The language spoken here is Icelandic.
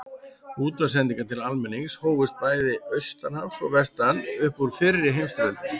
Útvarpssendingar til almennings hófust bæði austan hafs og vestan upp úr fyrri heimsstyrjöldinni.